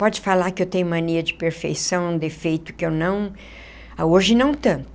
Pode falar que eu tenho mania de perfeição, defeito, que eu não, hoje não tanto.